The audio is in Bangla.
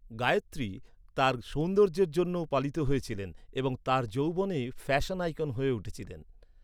গায়ত্রী তার সৌন্দর্যের জন্যও পালিত হয়েছিলেন এবং তার যৌবনে ফ্যাশন আইকন হয়ে উঠেছিলেন।